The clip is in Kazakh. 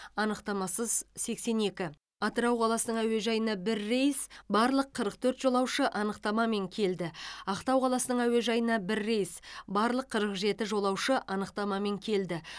анықтамасыз сексен екі атырау қаласының әуежайына бір рейс барлық қырық төрт жолаушы анықтамамен келді ақтау қаласының әуежайына бір рейс барлық қырық жеті жолаушы анықтамамен келді